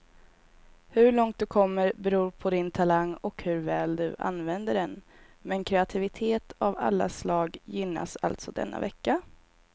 Hur långt du kommer beror på din talang och hur väl du använder den, men kreativitet av alla slag gynnas alltså denna vecka.